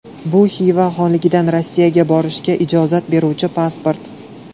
Bu Xiva xonligidan Rossiyaga borishga ijozat beruvchi pasport.